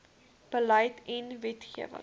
beleid en wetgewing